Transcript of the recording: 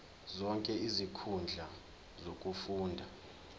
zonke izinkundla zokufunda